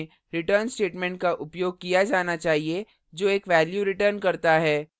nonvoid function में return statement का उपयोग किया जाना चाहिए जो एक value return करता है